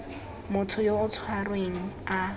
motho yo o tshwerweng a